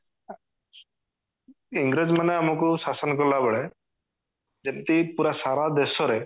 ଇଂରେଜ ମାନେ ଆମକୁ ଶାସନ କଲା ବେଳେ ଯେମିତି ପୁରା ସାରା ଦେଶ ରେ